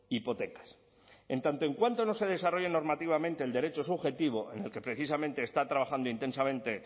hipotecas en tanto en cuanto no se desarrolle normativamente el derecho subjetivo en el que precisamente está trabajando intensamente